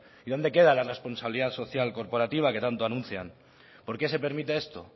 y dónde queda la responsabilidad social corporativa que tanto anuncian por qué se permite esto